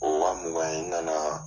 O mugan in n nana.